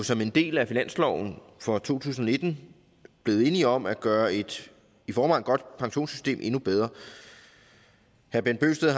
som en del af finansloven for to tusind og nitten blevet enige om at gøre et i forvejen godt pensionssystem endnu bedre herre bent bøgsted og